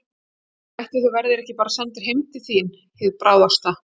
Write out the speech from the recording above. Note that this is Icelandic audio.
Ætli þú verðir bara ekki sendur heim til þín hið bráðasta.